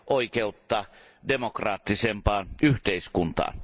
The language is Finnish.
oikeutta demokraattisempaan yhteiskuntaan.